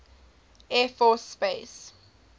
air force space